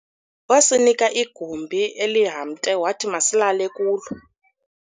wasinika igumbi elihamte wathi masilale kulo